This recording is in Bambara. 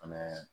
Fɛnɛ